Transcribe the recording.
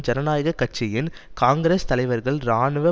ஜனநாயக கட்சியின் காங்கிரஸ் தலைவர்கள் இராணுவ